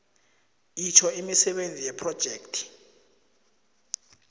itjho imisebenzi yephrojekhthi